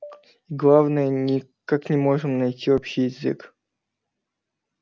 и главное никак не можем найти общий язык